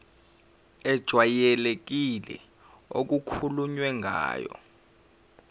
ejwayelekile okukhulunywe ngayo